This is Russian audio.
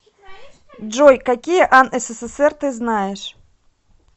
джой какие ан ссср ты знаешь